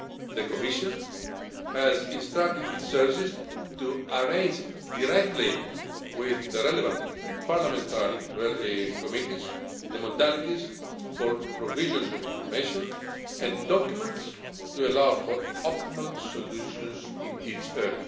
the Commission has instructed its services to arrange directly with the relevant Parliamentary committees the modalities for the provision of information and documents, to allow for optimal solutions in this area.